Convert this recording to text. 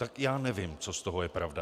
Tak já nevím, co z toho je pravda.